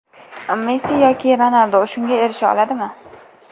Messi yoki Ronaldu shunga erisha oladimi?